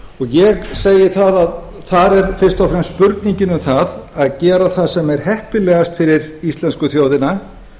ég segi að það er fyrst og fremst spurningin um það að gera það sem er heppilegast fyrir íslensku þjóðina